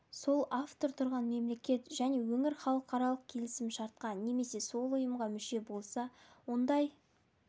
сол автор тұрған мемлекет және өңір халықаралық келісім шартқа немесе сол ұйымға мүше болса ондай